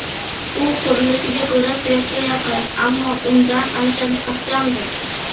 U qurilishiga ko‘ra suyakka yaqin, ammo undan ancha mustahkamdir.